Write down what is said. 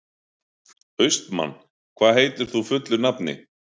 Austmann, hvað heitir þú fullu nafni?